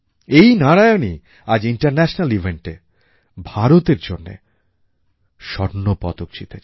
এই নারায়ণই আজ ইন্টারন্যাশনাল eventএ ভারতের জন্য স্বর্ণপদক জিতেছেন